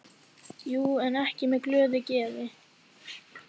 Jú, en ekki með glöðu geði.